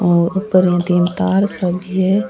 और ऊपर दो तीन तार सा दिखे है।